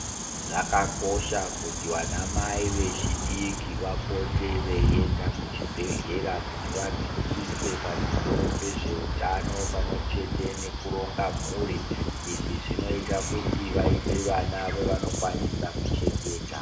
Zvakakosha kuti vanamai vechidiki vapote veienda kuchibhedhlera kuti vadzidziswe pamusoro pezveutano pamwechete nekuronga mhuri. Izvi zvinoita kuti vaite vana vavanokwanisa kuchengeta.